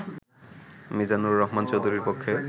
মিজানুর রহমান চৌধুরীর পক্ষে